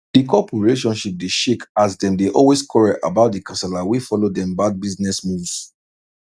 di couple relationship dey shake as dem dey always quarrel about the kasala wey follow dem bad business moves